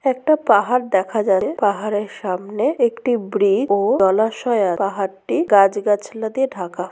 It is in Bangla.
একটা পাহাড় দেখা যাবে পাহাড়ের সামনে একটি ব্রিজ ও জলাশয় আছে পাহাড়টির গাছ গাছলা দিয়ে ঢাকা।